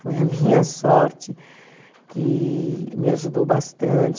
Foi a minha sorte que me ajudou bastante.